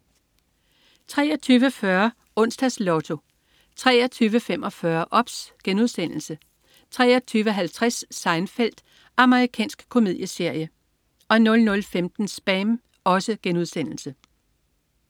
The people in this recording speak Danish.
23.40 Onsdags Lotto 23.45 OBS* 23.50 Seinfeld. Amerikansk komedieserie 00.15 SPAM*